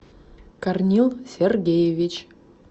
корнил сергеевич